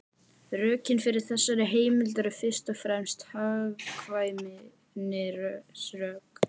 Rökin fyrir þessari heimild eru fyrst og fremst hagkvæmnisrök.